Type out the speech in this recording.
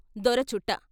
దొర చుట్ట....